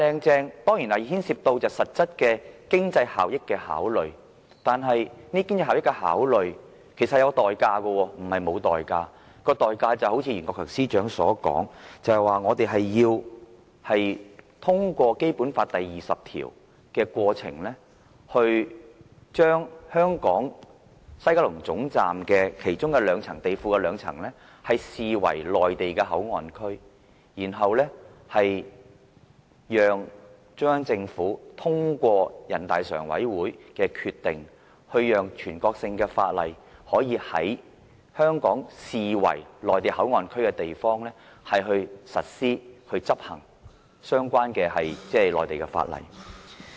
這當然牽涉到實質經濟效益的考慮，但這是有代價的，就如袁國強司長所說，我們要通過《基本法》第二十條的過程，把香港西九龍總站地庫的其中兩層視為內地口岸區，然後讓中央政府通過全國人民代表大會常務委員會的決定，讓全國性法律可以在香港視為內地口岸區的地方實施，以執行相關的內地法例。